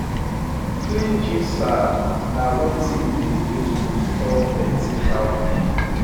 clean jute sack na wetin we dey use to store plenty cowpea